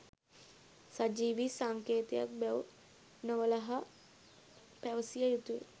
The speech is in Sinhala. සජීවී සංකේතයක් බැව් නොවළහා පැවසිය යුතුය